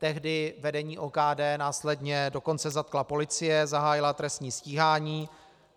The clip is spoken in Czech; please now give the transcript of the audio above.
Tehdy vedení OKD následně dokonce zatkla policie, zahájila trestní stíhání.